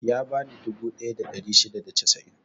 Ya bani dubu ɗaya da ɗari shida da casa'in.